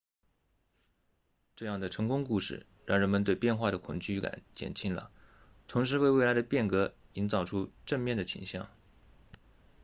这样的成功故事让人们对变化的恐惧感减轻了同时为未来的变革营造出正面的倾向